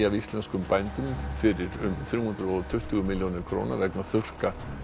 af íslenskum bændum fyrir þrjú hundruð og tuttugu milljónir króna vegna þurrka